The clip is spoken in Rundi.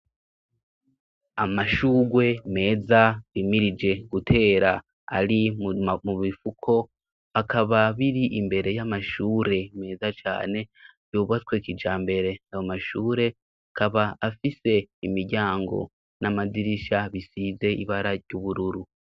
Amashugwe meza bimirije gutera ari mu bifuko bakaba biri imbere y'amashure meza cane yubatswekija mbere bamashure akaba afise imiryango n'amadirisha bisize ibara ry'ubururu.